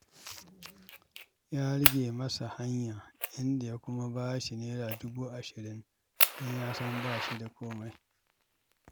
Ya rage masa hanya, inda ya kuma ba shi Naira dubu ashirin don ya san ba shi da komai.